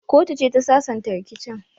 Kotu ce ta sasanta rikicin.